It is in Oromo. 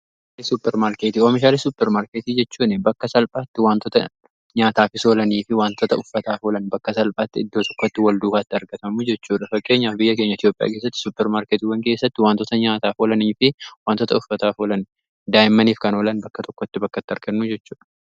Oomishaalee suuppermaarkeetii: oomishaalee suuppermaarketii jechuun bakka salphaatti wantoota nyaataaf oolanii fi wantoota uffataaf oolan bakka salphaatti iddoo tokkotti wal duukaa itti argatamu jechuudha. Fakkeenyaaf biyya keenya Itoopiyaa keessatti suppermaarkeetiwwan keessatti wantoota nyaataaf oolanii fi wantoota uffataaf oolan, daa'immaniif kan oolan bakka tokkotti bakkatti argannu jechuudha.